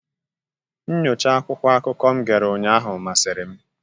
Nnyocha akwụkwọ akụkọ m gere ụnyaahụ masịrị m.